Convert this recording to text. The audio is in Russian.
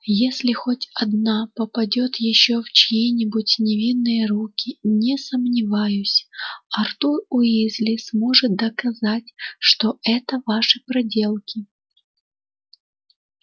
если хоть одна попадёт ещё в чьи-нибудь невинные руки не сомневаюсь артур уизли сможет доказать что это ваши проделки